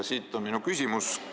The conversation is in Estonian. Siit tuleneb minu küsimus.